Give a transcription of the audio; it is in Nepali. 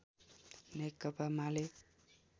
नेकपा माले